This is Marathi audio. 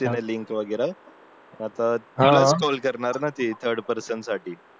घेतल्या तिने लिंक वगैरे आता तुलाचट्रोल करणारना ती थर्ड पर्सन साठी